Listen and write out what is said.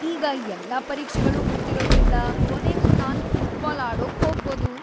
ಈಗ ಎಲ್ಲಾ ಪರೀಕ್ಷೆಗಳು ಮುಗ್ದಿರೋದ್ರಿಂದ, ಕೊನೆಗೂ ನಾನ್ ಫುಟ್ಬಾಲ್ ಆಡೋಕ್ ಹೋಗ್ಬೋದು.